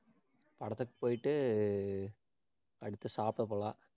படத்துக்கு போயிட்டு, அடுத்து சாப்பிட போலாம்